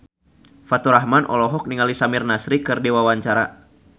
Faturrahman olohok ningali Samir Nasri keur diwawancara